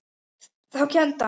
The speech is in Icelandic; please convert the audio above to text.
Þá kenndi hann.